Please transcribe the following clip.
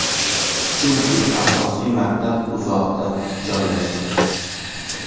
Chunki asosiy maktab uzoqda joylashgan.